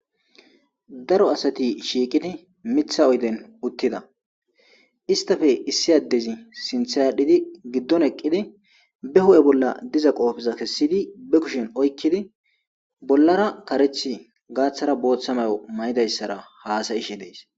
daro asati shiiqidi mitha oyden uttida istafe issi addezi sinthadhidi giddon eqqidi be hu7e bolla diza qoofiza kessidi be kushin oykkidi bollara kareth gaaththara booththamayo mayidayssara haasayishe dees